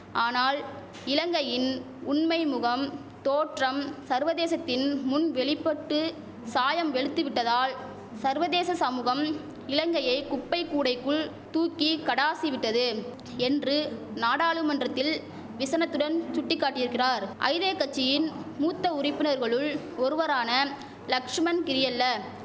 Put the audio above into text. ஆனால் இலங்கையின் உண்மை முகம் தோற்றம் சர்வதேசத்தின் முன் வெளிபட்டு சாயம் வெளுத்துவிட்டதால் சர்வதேச சமுகம் இலங்கையை குப்பை கூடைக்குள் தூக்கி கடாசி விட்டது என்று நாடாளுமன்றத்தில் விசனத்துடன் சுட்டி காட்டியிருக்கிறார் ஐதே கட்சியின் மூத்த உறுப்பினர்களுள் ஒருவரான லக்ஷ்மன் கிரியெல்ல